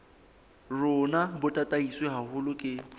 rona bo tataiswe haholo ke